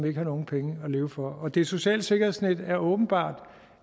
ikke har nogen penge at leve for og det sociale sikkerhedsnet er åbenbart